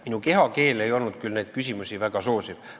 Minu kehakeel ei olnud küll neid küsimusi väga soosiv.